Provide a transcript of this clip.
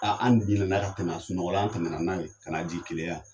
Aa an ka tɛmɛn a sunɔgɔ la , an tɛmɛn na n'a ye ka na'a jigin Keleya yan.